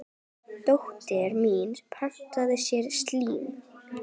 Dóttir mín pantaði sér slím.